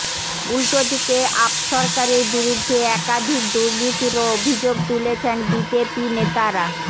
উলটো দিকে আপ সরকারের বিরুদ্ধে একাধিক দুর্নীতিরও অভিযোগ তুলেছেন বিজেপি নেতারা